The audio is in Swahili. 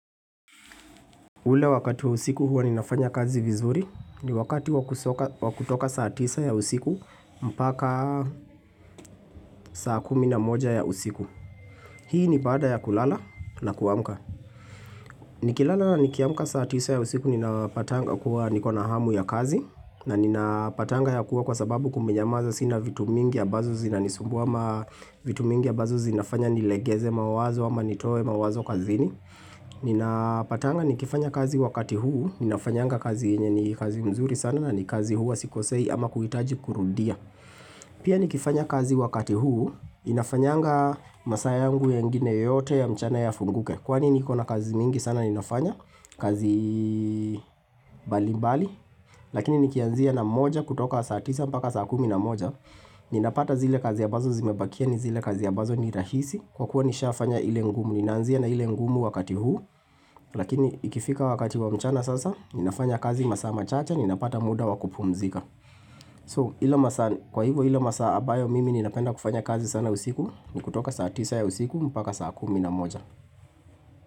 Ule wakati wa usiku huwa ninafanya kazi vizuri ni wakati wa kutoka saa tisa ya usiku mpaka saa kumi na moja ya usiku. Hii ni baada ya kulala na kuamka. Nikilala nikiamka saa tisa ya usiku ninapatanga kuwa nikona hamu ya kazi na ninapatanga ya kuwa kwa sababu kumenyamaza sina vitu mingi ambazo zinanisumbua ama vitu mingi ambazo zinafanya nilegeze mawazo ama nitoe mawazo kazini. Ninapatanga nikifanya kazi wakati huu Ninafanyanga kazi yenye ni kazi nzuri sana na ni kazi huwa sikosei ama kuhitaji kurudia Pia nikifanya kazi wakati huu Inafanyanga masaa yangu yengine yote ya mchana yafunguke Kwani niko na kazi nyingi sana ninafanya kazi mbalimbali Lakini nikianzia na moja kutoka saa tisa mpaka saa kumi na moja ninapata zile kazi ambazo zimebakia ni zile kazi ambazo ni rahisi Kwa kuwa nishafanya ile ngumu Ninaanzia na ile ngumu wakati huu Lakini ikifika wakati wa mchana sasa, ninafanya kazi masaa machache, ninapata muda wa kupumzika. So hilo masaa kwa hivyo hio masaa ambayo mimi ninapenda kufanya kazi sana usiku, ni kutoka saa tisa ya usiku, mpaka saa kumi na moja.